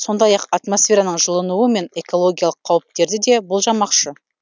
сондай ақ атмосфераның жылынуы мен экологиялық қауіптерді де болжамақшы